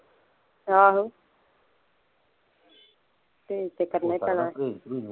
ਆਹੋ ਪ੍ਰਹੇਜ ਤੇ ਕਰਨਾ ਹੀ ਪੈਣਾ ਆ